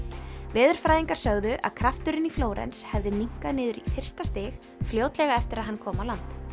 veðurfræðingar sögðu að krafturinn í Flórens hefði minnkað niður í fyrsta stig fljótlega eftir að hann kom á land